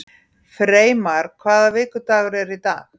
Freymar, hvaða vikudagur er í dag?